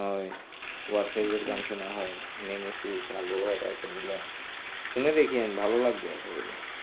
গান শোনা হয় ওয়াহিদ এর গান শোনা হয় নেমেসিস্ এগুলা শুনে দেখেন ভালো লাগবে আশা করি.